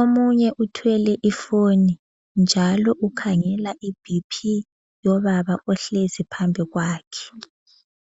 Omunye uthwele ifoni njalo ukhangela iBP yobaba ohlezi phambili kwakhe.